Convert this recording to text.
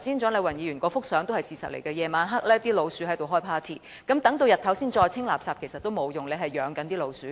蔣麗芸議員剛才展示的相片是事實，到了晚上老鼠便會"開派對"，待日間再清理垃圾已沒有用，已養了老鼠。